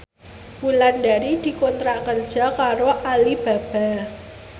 Wulandari dikontrak kerja karo Alibaba